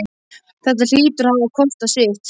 Þetta hlýtur að hafa kostað sitt!